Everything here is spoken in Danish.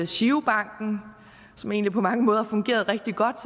girobanken som egentlig på mange måder fungerede rigtig godt